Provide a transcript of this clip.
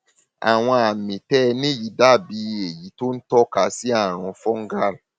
àwọn àmì tí ẹ ní yìí dàbí èyí tó ń tọka sí àrùn fungal